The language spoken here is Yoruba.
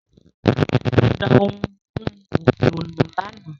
Ó da ohun mímu òfìò nù lánàá